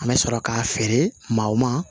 An bɛ sɔrɔ k'a feere maaw ma